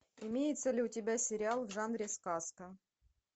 имеется ли у тебя сериал в жанре сказка